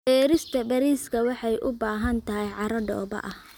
Beerista bariiska waxay u baahan tahay carro dhoobo ah.